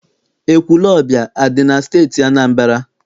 Ekwulọọbịa adị na Steeti Anambra?